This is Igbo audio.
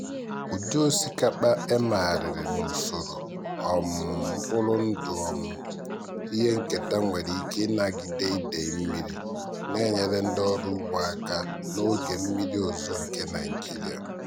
ụdị osikapa emegharịrị n'usoro um mkpụrụ ndụ um ihe nketa nwere ike ịnagide idei mmiri na-enyere ndị ọrụ ugbo aka n'oge mmiri ozuzo nke nigeria.